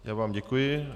Já vám děkuji.